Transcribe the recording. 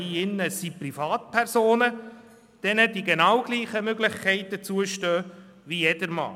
Es handelt sich um Privatpersonen, denen dieselben Möglichkeiten zustehen wie jedermann.